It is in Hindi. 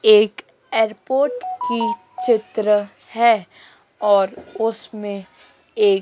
एक एयरपोर्ट की चित्र है और उसमें एक--